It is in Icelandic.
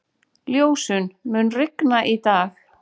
Ljósunn, mun rigna í dag?